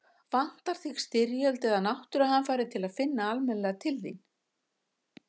Vantar þig styrjöld eða náttúruhamfarir til að finna almennilega til þín?